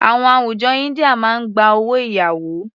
Àwọn àwùjọ India máa gba owó ìyàwó.